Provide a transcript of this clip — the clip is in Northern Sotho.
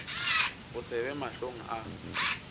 go se be mahlong a